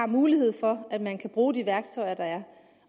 mulighed for at man kan bruge de værktøjer der er